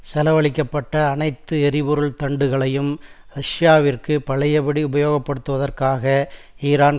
செலவழிக்க பட்ட அனைத்து எரிபொருள் தண்டுகளையும் ரஷ்யவிற்கு பழையபடி உபயோகப்படுத்துவதற்காக ஈரான்